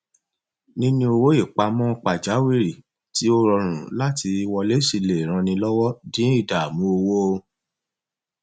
níní owó ìpamọ pajawírí tí ó rọrùn láti wọlé sí lè ran ni lọwọ dín ìdààmú owó